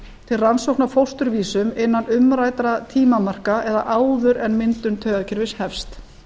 til rannsókna á fósturvísum innan umræddra tímamarka eða áður en myndun taugakerfis hefst